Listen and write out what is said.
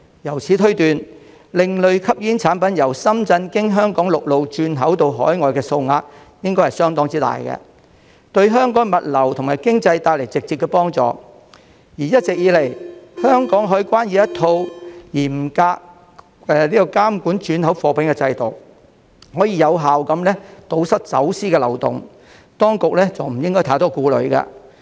由此推斷，另類吸煙產品由深圳經香港陸路轉口到海外的數額應該相當大，對香港物流及經濟帶來直接幫助；而一直以來，香港海關已有一套嚴格監管轉口貨物的制度，可以有效堵塞走私的漏洞，當局不應太多顧慮。